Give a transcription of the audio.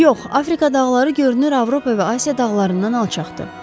Yox, Afrika dağları görünür Avropa və Asiya dağlarından alçaqdır.